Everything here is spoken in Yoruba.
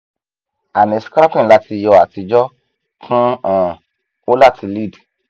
ani scraping lati yọ atijọ kun han o lati lead